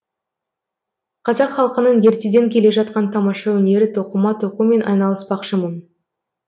қазақ халқының ертеден келе жатқан тамаша өнері тоқыма тоқумен айналыспақшымын